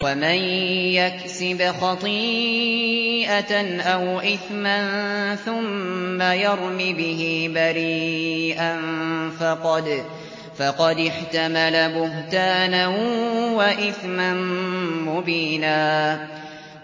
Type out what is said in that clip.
وَمَن يَكْسِبْ خَطِيئَةً أَوْ إِثْمًا ثُمَّ يَرْمِ بِهِ بَرِيئًا فَقَدِ احْتَمَلَ بُهْتَانًا وَإِثْمًا مُّبِينًا